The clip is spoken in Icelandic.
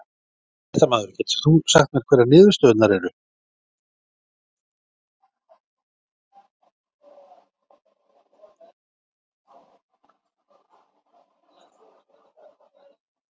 Fréttamaður: Getur þú sagt mér hverjar niðurstöðurnar eru?